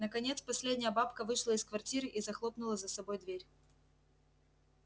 наконец последняя бабка вышла из квартиры и захлопнула за собой дверь